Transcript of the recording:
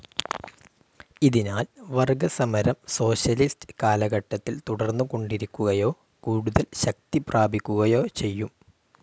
ഇതിനാൽ വർഗസമരം സോഷ്യലിസ്റ്റ്‌ കാലഘട്ടത്തിൽ തുടർന്നുകൊണ്ടിരിക്കുകയോ കൂടുതൽ ശക്തിപ്രാപിക്കുകയോ ചെയ്യും.